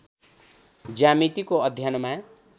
ज्यामितिको अध्ययनमा